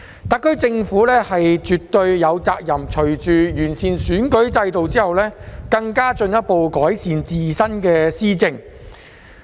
特區政府絕對有責任隨着完善選舉制度，進一步改善自身的施政。